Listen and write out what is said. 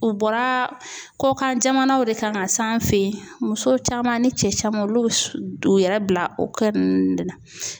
U bɔra kɔkan jamanaw de kan ka s'an fɛ yen, muso caman ni cɛ caman olu bɛ u yɛrɛ bila o kɛ ninnu de la.